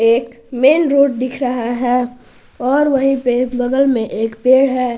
एक में main road दिख रहा है और वहीं पे बगल में एक पेड़ है।